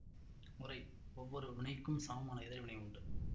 உரை ஒவ்வொரு வினைக்கும் சமமான எதிர் வினை உண்டு